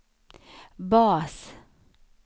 bas